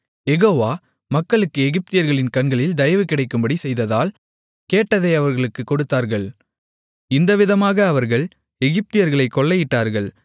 யெகோவா மக்களுக்கு எகிப்தியர்களின் கண்களில் தயவு கிடைக்கும்படி செய்ததால் கேட்டதை அவர்களுக்குக் கொடுத்தார்கள் இந்தவிதமாக அவர்கள் எகிப்தியர்களைக் கொள்ளையிட்டார்கள்